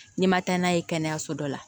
N'i ma taa n'a ye kɛnɛyaso dɔ la